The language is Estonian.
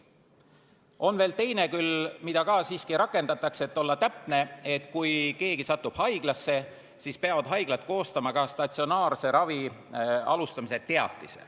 On veel küll teine, mida ka siiski rakendatakse : kui keegi satub haiglasse, siis peavad haiglad koostama statsionaarse ravi alustamise teatise.